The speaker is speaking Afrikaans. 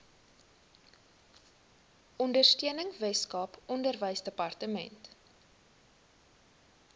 ondersteuning weskaap onderwysdepartement